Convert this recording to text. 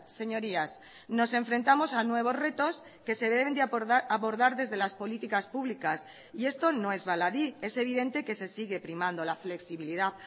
señorías nos enfrentamos a nuevos retos que se deben de abordar desde las políticas públicas y esto no es baladí es evidente que se sigue primando la flexibilidad